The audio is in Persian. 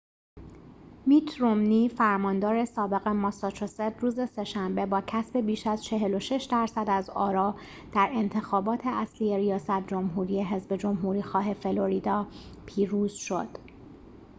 میت رومنی فرماندار سابق ماساچوست روز سه‌شنبه با کسب بیش از ۴۶ درصد از آرا در انتخابات اصلی ریاست جمهوری حذب جمهوری‌خواه فلوریدا پیروز شد